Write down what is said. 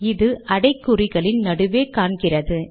இது அடைக்குறிகளின் நடுவே காண்கிறது